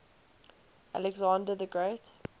alexander the great